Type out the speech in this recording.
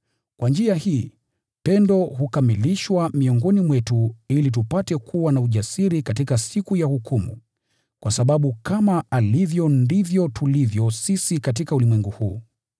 Kwa njia hii, pendo hukamilishwa miongoni mwetu ili tupate kuwa na ujasiri katika siku ya hukumu, kwa sababu kama alivyo ndivyo tulivyo sisi katika ulimwengu huu.